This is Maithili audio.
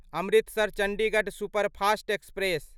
Amritsar Chandigarh superfast express